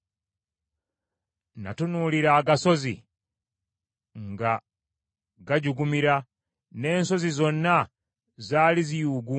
Natunuulira agasozi nga gajugumira, n’ensozi zonna zaali ziyuuguuma.